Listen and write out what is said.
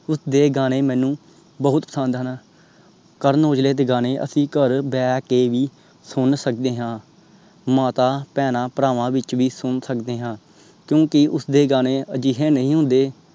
ਉਸਦੇ ਗਾਣੇ ਮੈਨੂੰ ਬਹੁਤ ਪਸੰਦ ਹਨ। ਕਰਨ ਔਜਲੇ ਦੇ ਗਾਣੇ ਅਸੀਂ ਘਰ ਬੇਕੇ ਵੀ ਸੁਨ ਸਕਦੇ ਹਾਂ। ਮਾਤਾ ਬਹਿਨਾਂ ਭਰਾਂਮਾਂ ਵਿਚ ਵੀ ਸੁਨ ਸਕਦੇ ਹਾਂ ਕਿਉਂਕਿ ਉਸਦੇ ਗਾਣੇ ਅਜਿਹੇ ਨਹੀਂ ਹੁੰਦੇ